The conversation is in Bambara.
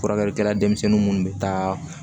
Furakɛlikɛla denmisɛnnin minnu bɛ taa